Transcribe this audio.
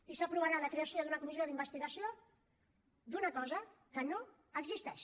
i s’aprovarà la creació d’una comissió d’investigació d’una cosa que no existeix